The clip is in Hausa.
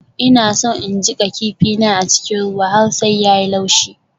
Ina so in jiƙa kifin na a cikin ruwa har sai ya yi laushi.